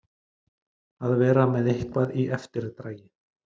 Að vera með eitthvað í eftirdragi